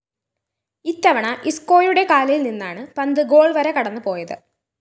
ഇത്തവണ ഇസ്‌ക്കോയുടെ കാലില്‍ നിന്നാണ് പന്ത് ഗോൾ വര കടന്നുപോയത്